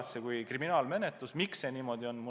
Jutt oleks nagu kriminaalmenetlusest, aga miks see niimoodi on?